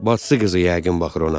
Bacıqızı yəqin baxır ona.